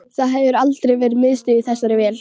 Það hefur aldrei verið miðstöð í þessari vél